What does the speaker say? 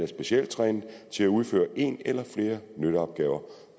specielt trænet til at udføre en eller flere nytteopgaver